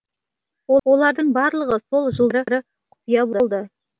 олардың барлығы сол жылдары құпия болды